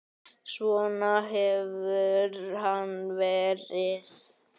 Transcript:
Svona hefur hann verið.